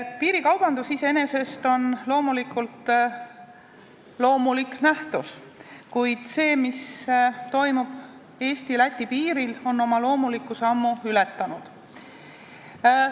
Piirikaubandus iseenesest on loomulik nähtus, kuid see, mis toimub Eesti ja Läti piiril, on juba ammu ebaloomulik.